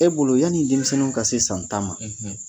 E bolo yanni denmisɛnww ka se san tan ma,